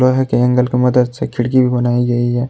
लोहे के एंगल के मदद से खिड़की भी बनाई गई है।